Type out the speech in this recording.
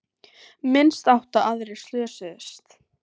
Minnst átta aðrir slösuðust